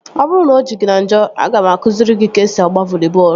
Ọ bụrụ na o ji gị na njọ, aga m akụziri gị ka esi agba voli bọọlụ